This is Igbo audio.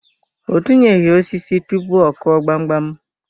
O tinyeghi osisi tụpụ ọ Kụọ gbamgbam.